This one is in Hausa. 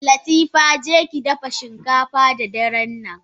Latifa jekidafa shinkafa da darennan!